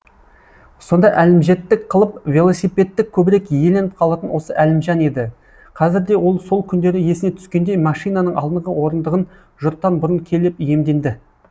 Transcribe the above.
сонда әлімжеттік қылып велосипедті көбірек иеленіп қалатын осы әлімжан еді қазір де ол сол күндері есіне түскендей машинаның алдыңғы орындығын жұрттан бұрын келіп иемденді